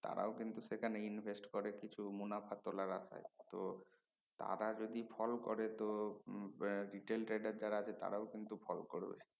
তারাও কিন্তু সেখানে invest করে কিছু মুনাফা তুলার আশায় তো তারা যদি ফোল করে তো আহ উম retail trailer যারা আছে তারাও কিন্তু ফোল করবে